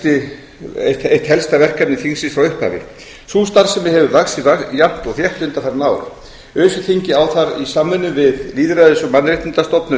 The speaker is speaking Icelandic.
kosningaeftirlitið verið eitt helsta verkefni þingsins frá upphafi sú starfsemi hefur vaxið jafnt og þétt undanfarin ár öse þingið á þar í samvinnu við lýðræðis og mannréttindastofnun